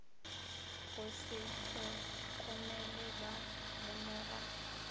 go se hlokomele ba lemoga